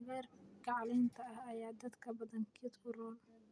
Cagaarka caleenta ah ayaa dadka badankiisa u roon